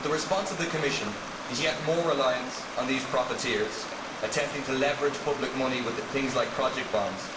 But the response of the Commission is yet more reliance on these profiteers attempting to leverage public money with things like project bonds.